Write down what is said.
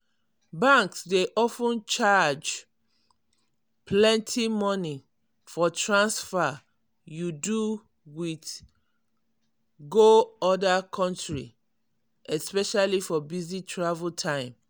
banks dey of ten charge plenty money for transfer you do wit go other country especially for busy travel time.